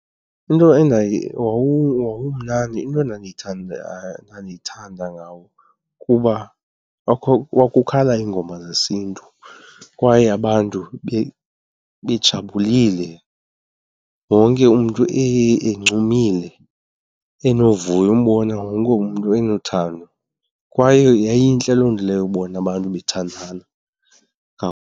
Into endaye wawumnandi, into endandiyithanda ngawo kuba kwakukhala iingoma zesiNtu kwaye abantu bejabulile wonke umntu encumile enovuyo, umbone wonke umntu enothando. Kwaye yayintle loo nto leyo ubona abantu bethandana .